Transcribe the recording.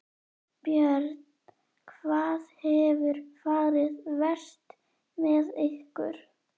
Björn: Hvað hefur farið verst með ykkur?